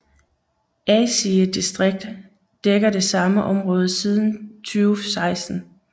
Asige distrikt dækker det samme område siden 2016